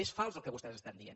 és fals el que vostès estan dient